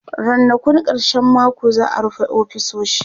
Rannakun karshen mako za'a rufe ofisoshi